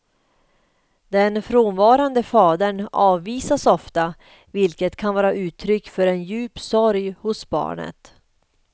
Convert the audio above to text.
Den frånvarande fadern avvisas ofta, vilket kan vara uttryck för en djup sorg hos barnet.